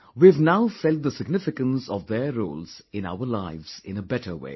we have now felt the significance of their roles in our lives in a better way